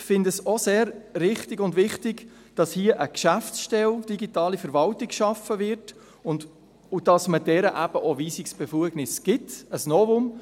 Wir finden es auch sehr wichtig und richtig, dass hier eine Geschäftsstelle Digitale Verwaltung geschaffen wird und dass man dieser auch Weisungsbefugnisse gibt – ein Novum.